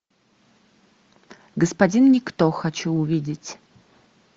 господин никто хочу увидеть